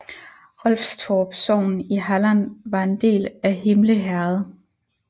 Rolfstorp sogn i Halland var en del af Himle herred